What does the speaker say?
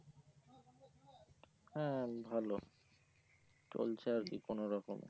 হ্যাঁ ভালো চলছে আর কি কোনো রকমে